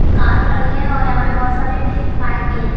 Car खड़ी है और यहां पे बहुत सारे बाइक भी हैं।